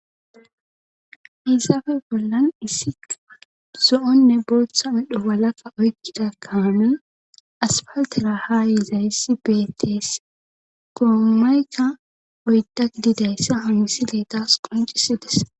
Issafe bollan issiqa zo'onne booththa idho walakka oykkida kaanuy aspaltera haa yizayssi beetees goomayka oyda didayssa hamisideetas qoncisides.